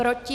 Proti?